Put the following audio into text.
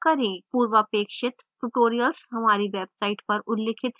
पूर्वापेक्षित tutorials हमारी website पर उल्लिखित हैं